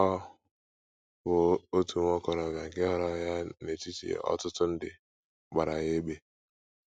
Ọ bụ otu nwa okorobịa nke họọrọ ya n’etiti ọtụtụ ndị, gbara ya égbè.